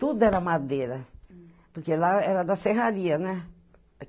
Tudo era madeira, porque lá era da serraria, né?